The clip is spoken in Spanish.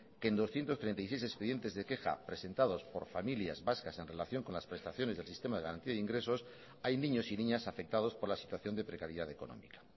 que en doscientos treinta y seis expedientes de queja presentados por familias vascas en relación con las prestaciones del sistema de garantía de ingresos hay niños y niñas afectados por la situación de precariedad económica